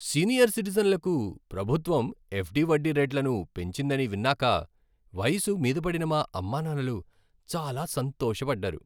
Senior సిటిజన్లకు ప్రభుత్వం FD వడ్డీ రేట్లను పెంచిందని విన్నాక వయసు మీద పడిన మా అమ్మానాన్నలు చాలా సంతోష పడ్డారు.